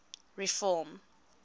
reform